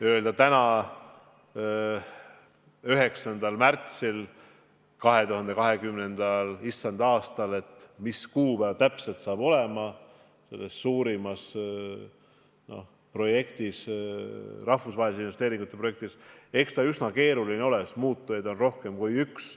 Öelda täna, 9. märtsil 2020. issanda aastal, mis kuupäeval täpselt see suur projekt, rahvusvaheliste investeeringute projekt, valmib – eks ta üsna keeruline ole, sest muutujaid on rohkem kui üks.